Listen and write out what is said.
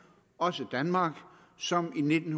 også danmark som i nitten